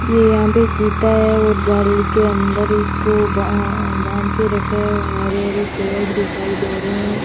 ये यहां पे चिता है और जाल के अंदर इसको बां बांधके रखा है और हरे हरे पेड़ भी दिखाई दे रहे हैं।